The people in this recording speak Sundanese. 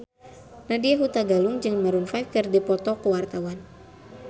Nadya Hutagalung jeung Maroon 5 keur dipoto ku wartawan